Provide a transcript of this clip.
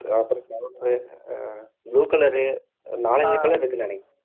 அப்புறம் செவப்பு ஆஹ் blue colour நாலஞ்சு colour இருக்குன்னு நினைக்கிறேன்